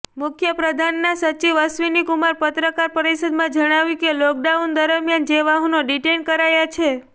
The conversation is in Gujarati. મુખ્યપ્રધાનના સચિવ અશ્વિની કુમારે પત્રકાર પરિષદમાં જણાવ્યું કે લોકડાઉન દરમિયાન જે વાહનો ડિટેઈન કરાયા છે